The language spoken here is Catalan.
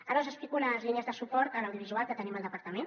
ara us explico les línies de suport a l’audiovisual que tenim al departament